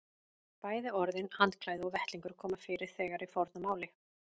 Bæði orðin handklæði og vettlingur koma fyrir þegar í fornu máli.